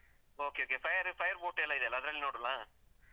Okay okay fire fireboot ಎಲ್ಲ ಇದೆಯಲ್ಲ, ಅದ್ರಲ್ಲಿ ನೋಡ್ವಾಲ್ಲ?